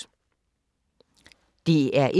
DR1